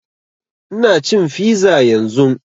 Ina cin fiza yanzun